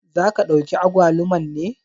Za ka ɗauki agwaluman ne?